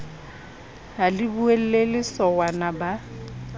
ha le boulelle sowana ba